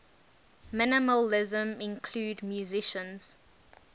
minimalism include musicians